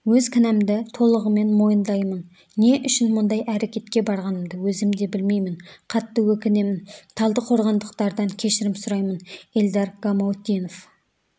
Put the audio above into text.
өз кінәмді толығымен мойындаймын не үшін мұндай әрекетке барғанымды өзім де білмеймін қатты өкінемін талдықорғандықтардан кешірім сұраймын эльдар гамаутдинов